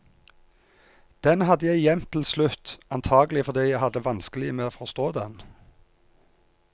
Den hadde jeg gjemt til slutt, antakelig fordi jeg hadde vanskelig med å forstå den.